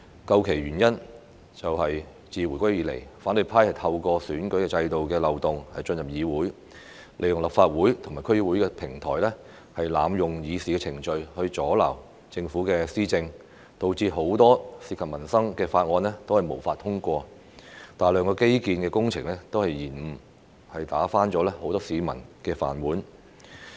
究其原因，就是自回歸以來，反對派透過選舉制度的漏洞進入議會，利用立法會和區議會的平台，濫用議事程序阻撓政府施政，導致很多涉及民生的法案均無法通過，大量基建工程被延誤，打翻了很多市民的飯碗。